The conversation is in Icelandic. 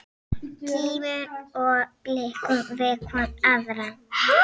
Kímum og blikkum hvor aðra.